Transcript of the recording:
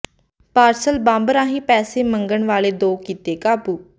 parcel bomb ਰਾਹੀਂ ਪੈਸੇ ਮੰਗਣ ਵਾਲੇ ਦੋ ਕੀਤੇ ਕਾਬੂ